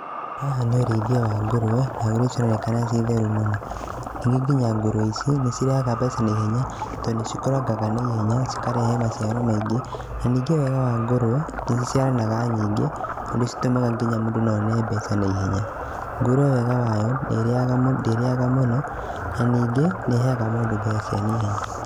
Haha nĩ ũrĩithia wa ngũrũe, nairia cironekana ciĩtheru mũno. Ningĩ nginya ngũrũe ici nĩcitrehaga mbeca naihenya tondũ nĩcikũrangaga na ihenya, cikarere maciaro maingĩ na ningĩ wega wa ngũrũe nĩciciaranaga nyingĩ ũndũ citũmaga nginya mũndũ no one mbeca naihenya. Ngũrũe wega wayo ndĩrĩaga mũno na ningĩ nĩ ĩheaga mũndũ mbeca cia naihenya.